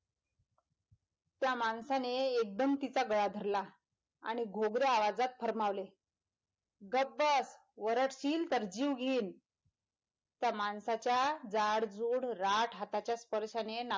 त्या माणसाने एकदम तिचा गळा धरला आणि घोघऱ्या आवाजात फर्मावले गप बस, वरडशील तर जीव घेईन त्या माणसाच्या जाडजूड राठ हाताच्या स्पर्शाने नाक,